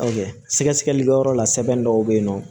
Sɛgɛsɛgɛlikɛyɔrɔ la sɛbɛn dɔw bɛ yen nɔ